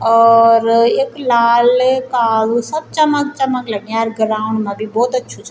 और यख लाल कालू सब चमक-चमक लग्याँ ग्राउंड मा भी भोत अछू च।